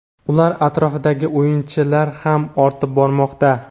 ular atrofidagi "o‘yinchi"lar ham ortib bormoqda.